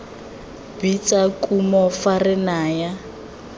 bitsa kumo fa re naya